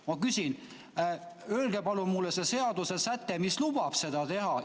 Ma küsin: öelge palun mulle see seadusesäte, mis lubab seda teha.